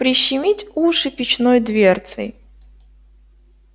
прищемить уши печной дверцей